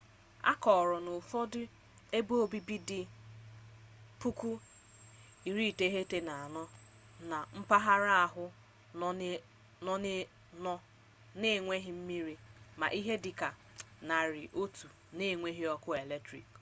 a kọrọ na ụfọdụ ebeobibi dị 9400 na mpaghara ahụ nọ na-enweghị mmiri ma ihe dị ka 100 na-enweghị ọkụ eletriki